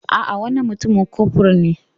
A'a, wannan mutumin kofur ne.